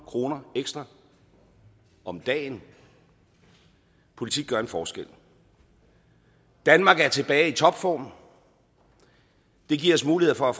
kroner ekstra om dagen politik gør en forskel danmark er tilbage i topform det giver os mulighed for